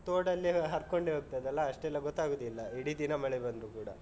ನಮ್ಗೆ ಅಲ್ಲಿ ತೋಡು ಅಲ್ಲಿ ಹರ್ಕೊಂಡೆ ಹೋಗ್ತದಲ್ಲ ಅಷ್ಟೆಲ್ಲ ಗೊತ್ತಾಗುದಿಲ್ಲ ಇಡೀ ದಿನ ಮಳೆ ಬಂದ್ರು ಕೂಡ.